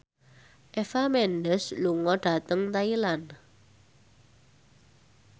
Eva Mendes lunga dhateng Thailand